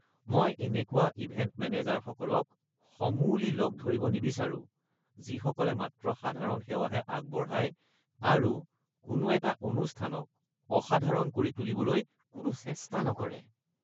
মই এনেকুৱা ইভেন্ট মেনেজাৰসকলক সমূলি লগ ধৰিব নিবিচাৰোঁ যিসকলে মাত্ৰ সাধাৰণ সেৱাহে আগবঢ়ায় আৰু কোনো এটা অনুষ্ঠানক অসাধাৰণ কৰি তুলিবলৈ কোনো চেষ্টা নকৰে।